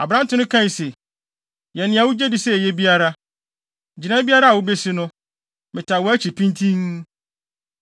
Aberante no kae se, “Yɛ nea wugye di sɛ eye biara. Gyinae biara a wubesi no, metaa wʼakyi pintinn.”